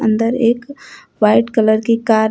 अंदर एक white colour की कार है।